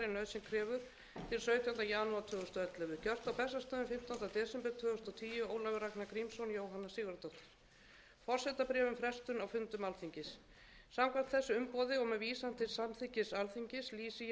ellefu gert á bessastöðum fimmtánda desember tvö þúsund og tíu ólafur ragnar grímsson jóhanna sigurðardóttir forsetabréf um frestun á fundum alþingis samkvæmt þessu umboði og með vísan til samþykkis alþingis lýsi ég hér með yfir því að fundum alþingis hundrað þrítugasta og níunda löggjafarþings er